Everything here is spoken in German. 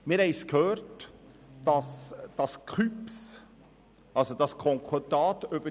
Wir haben gehört, dass dem KÜPS 10 Kantone beigetreten sind.